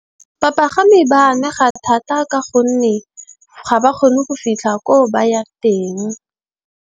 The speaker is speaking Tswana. Bapagami ba amega thata, ka gonne ga ba kgone go fitlha ko ba yang teng.